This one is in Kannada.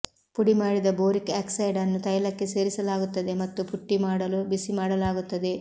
ಪುಡಿಮಾಡಿದ ಬೋರಿಕ್ ಆಕ್ಸೈಡ್ ಅನ್ನು ತೈಲಕ್ಕೆ ಸೇರಿಸಲಾಗುತ್ತದೆ ಮತ್ತು ಪುಟ್ಟಿ ಮಾಡಲು ಬಿಸಿಮಾಡಲಾಗುತ್ತದೆ